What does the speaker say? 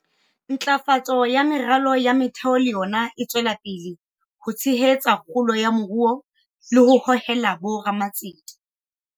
Ntlafatso ya meralo ya motheo le yona e tswela pele ho tshehetsa kgolo ya moruo le ho hohela bo ramatsete.